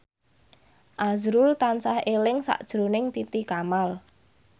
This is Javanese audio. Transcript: azrul tansah eling sakjroning Titi Kamal